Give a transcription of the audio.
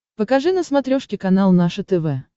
покажи на смотрешке канал наше тв